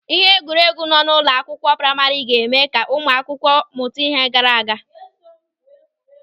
Ịhe egwuregwu nọ n'ụlọ akwụkwọ praima ga-eme ka ụmụ akwụkwọ mụta ime garagara.